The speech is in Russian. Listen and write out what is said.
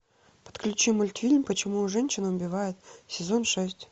подключи мультфильм почему женщины убивают сезон шесть